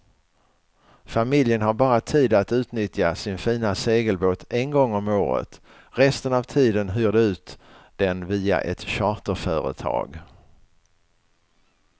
Familjen har bara tid att utnyttja sin fina segelbåt en gång om året, resten av tiden hyr de ut den via ett charterföretag.